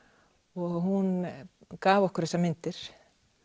og hún gaf okkur þessar myndir